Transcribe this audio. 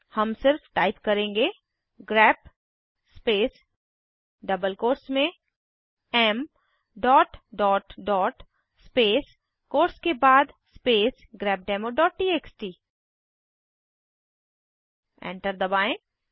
हम सिर्फ टाइप करेंगे ग्रेप स्पेस डबल कोट्स में Mडॉट डॉट डॉट स्पेस कोट्स के बाद स्पेस grepdemoटीएक्सटी एंटर दबाएं